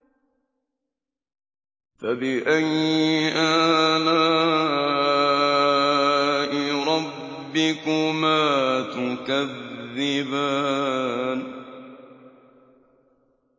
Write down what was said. فَبِأَيِّ آلَاءِ رَبِّكُمَا تُكَذِّبَانِ